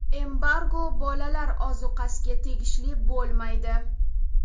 Embargo bolalar ozuqasiga tegishli bo‘lmaydi.